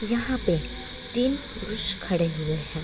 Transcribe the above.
यहाँ पे तीन पुरुष खड़े हुए हैं।